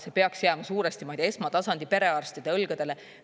See peaks jääma suuresti, muide, esmatasandi perearstide õlgadele.